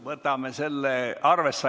Võtame selle arvesse.